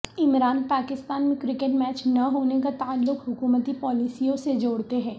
عمران پاکستان میں cricket match نہ ہونے کا تعلق حکومتی پالیسیوں سے جوڑتے ہیں